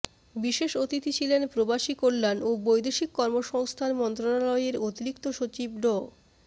বিশেষ অতিথি ছিলেন প্রবাসী কল্যাণ ও বৈদেশিক কর্মসংস্থান মন্ত্রণালয়ের অতিরিক্ত সচিব ড